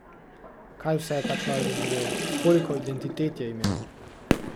Kaj vse je ta človek doživel, koliko identitet je imel?